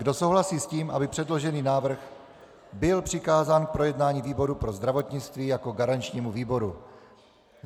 Kdo souhlasí s tím, aby předložený návrh byl přikázán k projednání výboru pro zdravotnictví jako garančnímu výboru?